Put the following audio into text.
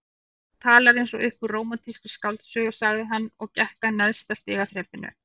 Þú talar eins og upp úr rómantískri skáldsögu sagði hann og gekk að neðsta stigaþrepinu.